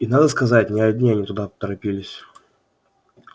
и надо сказать не одни они туда торопились